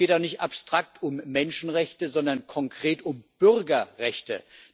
Und es geht auch nicht abstrakt um Menschenrechte, sondern konkret um Bürgerrechte.